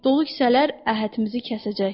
Dolu kisələr əhədimizi kəsəcək.